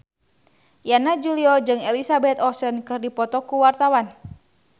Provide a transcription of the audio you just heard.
Yana Julio jeung Elizabeth Olsen keur dipoto ku wartawan